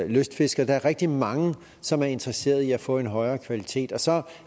lystfiskere der er rigtig mange som er interesseret i at få en højere kvalitet og så